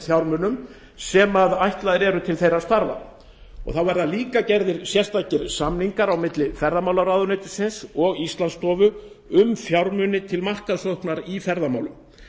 fjármunum sem ætlaðir eru til þeirra starfa og líka verða gerðir sérstakir samningar á milli ferðamálaráðuneytisins og íslandsstofu um fjármuni til markaðssóknar í ferðamálum